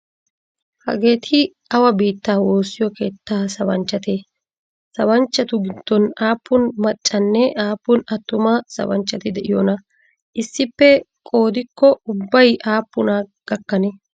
Hageeti awa biittaa woosiyo keettaa sabanchchatee? Sabanchchatu gidoon aapuun macca nne aapuun atuma sabanchchati de'iyoona issippe qoodikko ubbay aapuna gakanee?